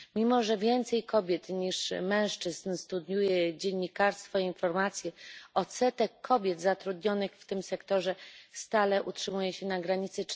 Mimo że więcej kobiet niż mężczyzn studiuje dziennikarstwo i informacje, odsetek kobiet zatrudnionych w tym sektorze stale utrzymuje się na granicy